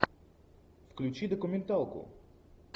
включи документалку